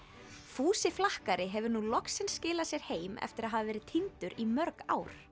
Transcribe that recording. fúsi flakkari hefur nú loksins skilað sér heim eftir að hafa verið týndur í mörg ár